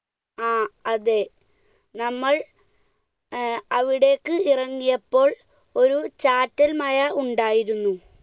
ആ അതെ, നമ്മൾ ഏർ അവിടേക്ക് ഇറങ്ങിയപ്പോൾ ഒരു ചാറ്റൽ മഴ ഉണ്ടായിരുന്നു.